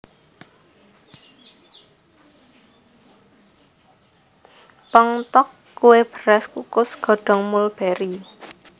Ppong tteok kue beras kukus godong mulberi